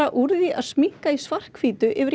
úr því að sminka í svarthvítu yfir í